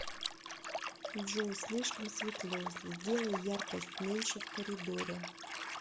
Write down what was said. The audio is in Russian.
джой слишком светло сделай яркость меньше в коридоре